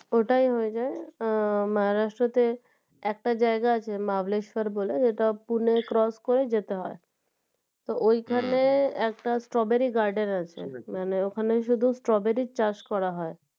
ওটাই হয়ে যায় আহ Maharashtra তে একটা জায়গা আছে Mahabaleshwar বলে যেটা পুনে cross করে যেতে হয় তো ঐ খানে একটা strawberry Garden আছে মানে ওখানে শুধু strawberry র চাষ করা হয়